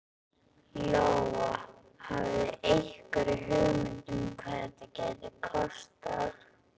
Lóa: Hafið þið einhverja hugmynd um hvað þetta gæti kostað?